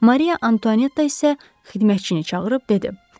Mariya Antuanetta isə xidmətçini çağırıb dedi: